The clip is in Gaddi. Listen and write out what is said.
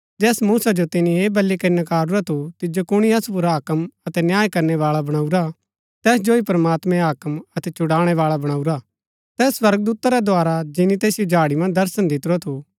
जैस मूसा जो तिन्ये ऐह बली करी नकारूरा थू तिजो कुणी असु पुर हाक्म अतै न्याय करनै बाळा बणाऊरा तैस जो ही प्रमात्मैं हाक्म अतै छुड़ाणैवाळा बणाऊरा तैस स्वर्गदूता रै द्धारा जिनी तैसिओ झाड़ी मन्ज दर्शन दितुरा थू